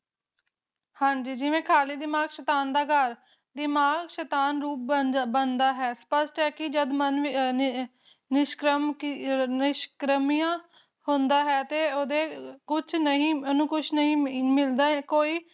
ਹਾਜੀ ਦੀ ਜਿਵੇਂ ਖ਼ਾਲੀ ਦਿਮਾਗ਼ ਸ਼ੈਤਾਨ ਦਾ ਘਰ ਦਿਮਾਗ ਸ਼ੈਤਾਨ ਰੂਪ ਬਣ ਬਣਦਾ ਬਣਦਾ ਹੈ ਸ਼ਪਸ਼ਟ ਹੈ ਕਿ ਮਨ ਨਿਸ਼ ਕਮ ਨਿਸ਼ ਕਰਮੀਆਂ ਹੁੰਦਾ ਹੈ ਤੇ ਉਹਦੇ ਕੁਛ ਅਨੁਕੁਛ ਨਹੀਂ ਮਿਲਦਾ ਕੋਈ